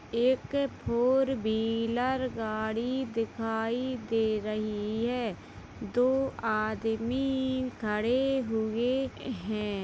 एक four wheeler गाड़ी दिखाई दे रही है दो आदमी खड़े हुए हैं।